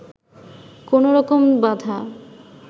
কোন রকম বাঁধা